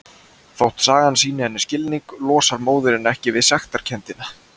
Þótt sagan sýni henni skilning losnar móðirin ekki við sektarkenndina.